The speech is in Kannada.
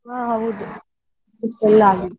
ಹಾ ಹೌದು .